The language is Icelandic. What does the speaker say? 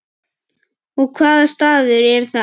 Og hvaða staður er það?